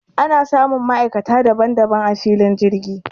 Ana samun ma'aikata daban daban a filin jirgi